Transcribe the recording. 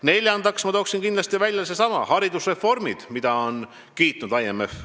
Neljandaks toon ma kindlasti välja haridusreformid, mida on IMF kiitnud.